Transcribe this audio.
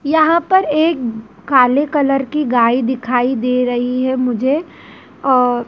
यहां पर एक काले कलर की गाय दिखाई दे रही है मुझे और।--